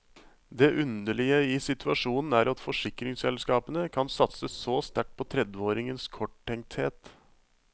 Det underlige i situasjonen er at forsikringsselskapene kan satse så sterkt på tredveåringens korttenkthet.